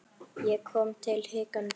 Ég kom hikandi nær.